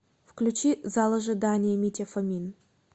включи зал ожидания митя фомин